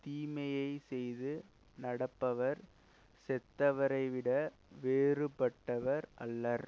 தீமையை செய்து நடப்பவர் செத்தவரை விட வேறுபட்டவர் அல்லர்